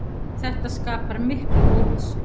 Þetta skapar mikla óvissu.